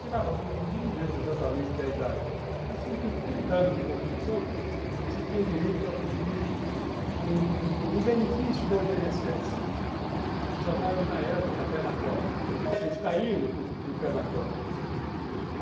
Chegava com, não me lembro exatamente a idade, mas com tipo trinta anos de contribuição, você tinha direito a pedir um benefício do i ene esse esse, chamado na época pé na cova, quer dizer que você está indo para o pé na cova.